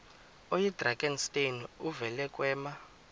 oyidrakenstein uvele kwema